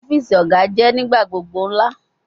Ọfiisi Oga jẹ nigbagbogbo ńlá